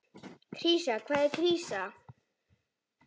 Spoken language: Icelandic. Krísa, hvað er krísa?